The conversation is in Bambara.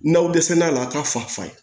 N'aw dɛsɛl'a la a k'a fa fa ye